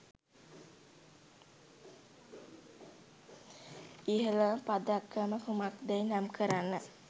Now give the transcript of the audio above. ඉහලම පදක්කම කුමක්දැයි නම් කරන්න.